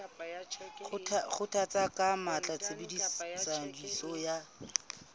kgothalletsa ka matla tshebediso ya